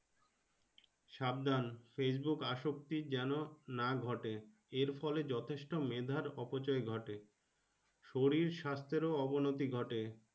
সাবধান Facebook আশোকটি যেন না ঘটে এর ফলে যথেষ্ট মেধার অপচয় ঘটে শরীর স্বাস্থ্যের অবনতি ঘটে।